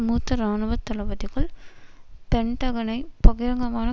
மூத்த இராணுவ தளபதிகள் பென்டகனை பகிரங்கமான